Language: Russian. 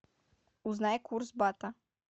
узнай курс бата